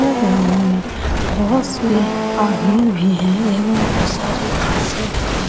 यह ग्राउंड में बहुत से आदमी भी है एवं बहुत सारे घाँसे भी हैं।